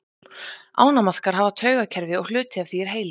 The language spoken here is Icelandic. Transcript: ánamaðkar hafa taugakerfi og hluti af því er heili